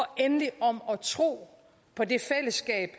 endelig om at tro på det fællesskab